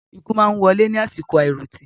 Ikú máa wọlé ní àsìkò àiròtì